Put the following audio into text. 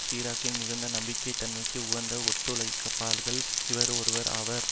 சிராக்கின் மிகுந்த நம்பக தன்மைக்கு உகந்த ஒத்துழைப்பாளர்களில் இவரும் ஒருவர் ஆவார்